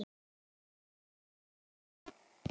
Ég elska þig pabbi.